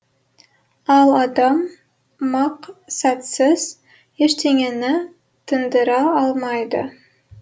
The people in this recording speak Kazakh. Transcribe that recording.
ал адам мақсатсыз ештеңені тындыра алмайды